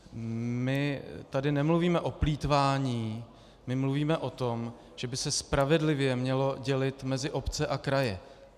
My tu nemluvíme o plýtvání, my mluvíme o tom, že by se spravedlivě mělo dělit mezi obce a kraje.